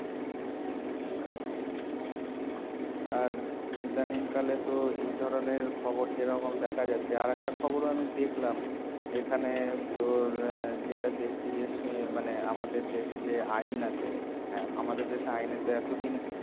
আর ইদানিং কালে তো এই ধরণের খবর যেরকম দেখা যাচ্ছে আর একটা খবরও আমি দেখলাম এখানে তোর এর যেটা দেখছি যে উম মানে আমাদের দেশে যে আইন আছে আর আমাদের দেশে আইনের তো এত দিন